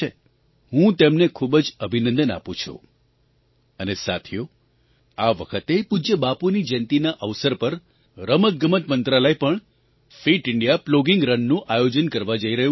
હું તેમને ખૂબ જ અભિનંદન આપું છું અને સાથીઓ આ વખતે પૂજ્ય બાપુની જયંતીના અવસર પર રમતગમત મંત્રાલય પણ ફિટ ઇન્ડિયા પ્લોગિંગ રન નું આયોજન કરવા જઈ રહ્યું છે